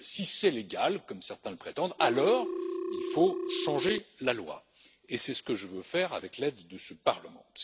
Si c'est légal, comme certains le prétendent, alors il faut changer la loi et c'est ce que je veux faire avec l'aide de ce Parlement.